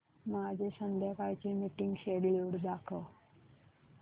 माझे संध्याकाळ चे मीटिंग श्येड्यूल दाखव